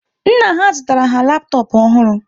Nna ha zụtara ha laptop ọhụrụ